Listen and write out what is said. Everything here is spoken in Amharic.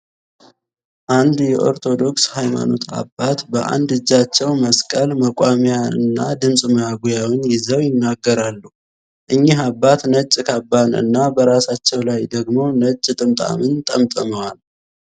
አንድ የኦርቶዶክስ ሃይማኖት አባት በአንድ እጃቸው መስቀል፣ መቋሚያ እና ድምጽ ማጉያን ይዘው ይናገራሉ። እኚህ አባት ነጭ ካባን እና በራሳቸው ላይ ደግሞ ነጭ ጥምጣምን ጠምጥመዋል።